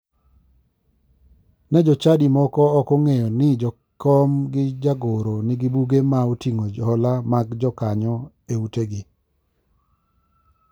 Ne jochadi moko ok ong'eyo ni jakom gi jagoro nigi buge ma oting'o hola mag jokanyo e utegi.